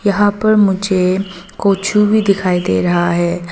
यहां पर मुझे कोछू भी दिखाई दे रहा है।